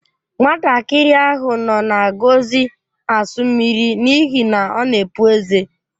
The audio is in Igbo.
Nwatakịrị ahụ nọ na-agọzi asu mmiri n'ihi na ọ na-epụ ezé.